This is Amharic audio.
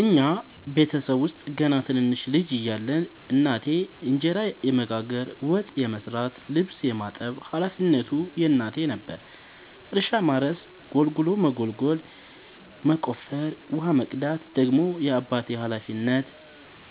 እኛ ቤተሰብ ውስጥ ገና ትንንሽ ልጅ እያለን እናቴ እንጀራ የመጋገር፤ ወጥ የመስራት ልብስ የማጠብ ሀላፊነቱ የእናቴ ነበረ። እርሻ ማረስ ጉልጎሎ መጎልጎል መቆፈር፣ ውሃ መቅዳት ደግሞ የአባቴ ሀላፊነት፤